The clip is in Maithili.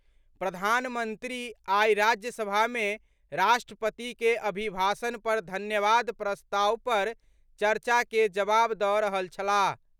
प्रधानमंत्री आई राज्यसभा मे राष्ट्रपति के अभिभाषण पर धन्यवाद प्रस्ताव पर चर्चा के जवाब दऽ रहल छलाह।